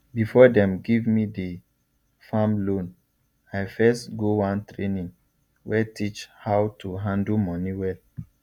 before dem give me the farm loan i first go one training wey teach how to handle moni well